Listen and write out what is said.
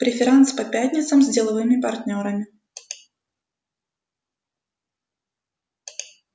преферанс по пятницам с деловыми партнёрами